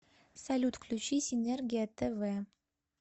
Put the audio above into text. салют включи синергия тв